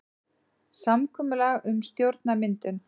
Samkomulag um stjórnarmyndun